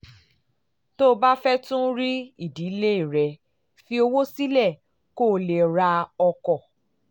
tó o bá fẹ́ tún rí ìdílé rẹ fi owó sílẹ̀ kó o lè ra ọkọ̀